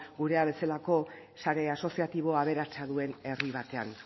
gura bezalako sare asoziatibo aberatsa duen herri batean